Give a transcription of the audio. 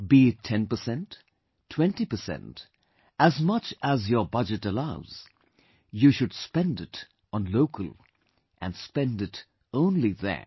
Be it ten percent, twenty percent, as much as your budget allows, you should spend it on local and spend it only there